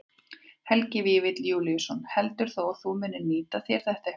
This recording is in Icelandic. Helgi Vífill Júlíusson: Heldurðu að þú munir nýta þér þetta eitthvað?